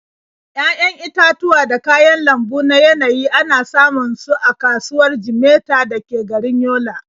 Ya'yan itatuwa da kayan lambu na yanayi ana samun su a kasuwar Jimeta da ke garin Yola.